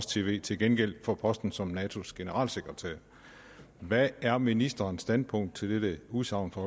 tv til gengæld for posten som natos generalsekretær hvad er ministerens standpunkt til dette udsagn fra